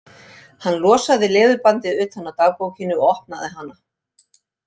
Hann losaði leðurbandið utan af dagbókinni og opnaði hana.